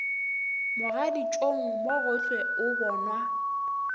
mogaditšong mo gohle o bonwa